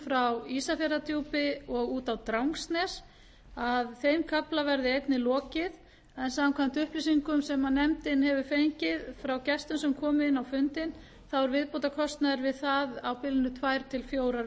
frá ísafjarðardjúpi og út á drangsnes að þeim kafla verði einnig lokið en samkvæmt upplýsingum sem nefndin hefur fengið frá gestum sem komu inn á fundinn þá er viðbótarkostnaður við það á bilinu tvö til fjórar